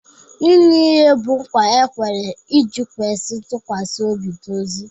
Ịṅụ iyi bụ nkwa e kwere iji kwesị ntụkwasị obi n'ozi